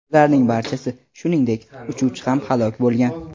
Ularning barchasi, shuningdek, uchuvchi ham halok bo‘lgan.